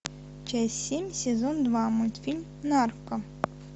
часть семь сезон два мультфильм нарко